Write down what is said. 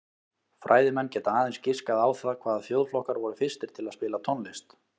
Fræðimenn geta aðeins giskað á það hvaða þjóðflokkar voru fyrstir til að spila tónlist.